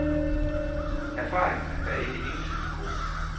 Erfaringerne er ikke entydigt gode.